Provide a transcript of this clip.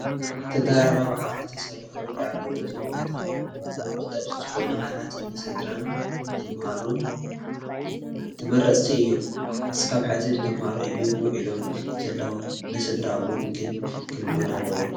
ተደራራቢ ዓራት ተሰሪሖም ይርአዩ ኣለዉ፡፡ እዞም ቦታ ቆጠብቲ ዝኾኑ ዓራት ንስድራን ተመሃሮን ተመረፅቲ እዮም፡፡ እስካብ ሕዚ ንተመሃሮ እዮም ውዒሎም ዘለዉ፡፡ ንስድራ እውን ግን ክልመዱ ኣለዎም፡፡